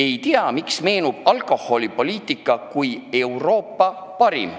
Ei tea, miks mulle meenub alkoholipoliitika kui Euroopa parim.